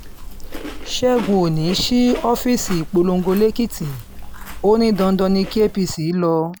ṣẹ́gun òní sí ọ́fíìsì ìpolongo lẹ́kìtì ò ní dandan ni kí apc lọ